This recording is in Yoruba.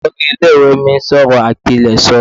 Olori ile iwe mi n sọ ọrọ apileso